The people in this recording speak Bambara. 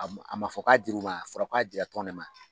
A ma a man fɔ k'a dir'u ma a fɔra k'a dira tɔn ne ma.